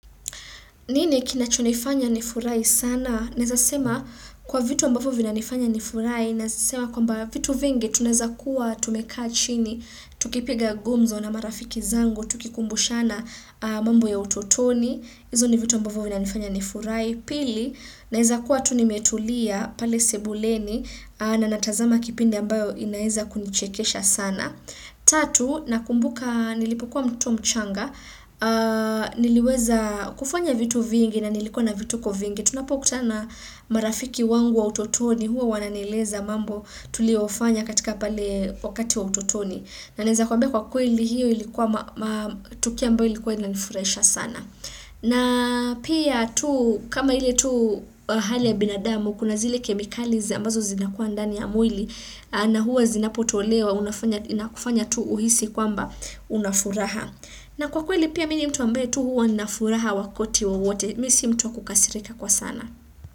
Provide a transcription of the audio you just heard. Nini kinachonifanya nifurahi sana? Naeza sema kwa vitu ambavyo vinanifanya nifurahi Naeza sema kwamba vitu vingi tunaeza kuwa tumekaa chini Tukipiga gumzo na marafiki zangu Tukikumbushana mambo ya utotoni hizo ni vitu ambavyo vinanifanya nifurahi Pili, naeza kuwa tu nimetulia pale sebuleni na natazama kipindi ambayo inaeza kunichekesha sana Tatu, nakumbuka nilipokuwa mtu mchanga niliweza kufanya vitu vingi na nilikuwa na vituko vingi tunapokutana marafiki wangu wa utotoni huo wananieleza mambo tuliofanya katika pale wakati wa utotoni na naeza kwambia kwa kweli hiyo ilikuwa tukio ambao ilikuwa inanifurahisha sana na pia tu kama ile tu hali ya binadamu kuna zile kemikaliza ambazo zinakuwa ndani ya mwili na huwa zinapotolewa na kufanya tu uhisi kwamba unafuraha na kwa kweli pia mimi ni mtu wa ambaye tu huwa na furaha wakati wowote, mimi si mtu wa kukasirika kwa sana.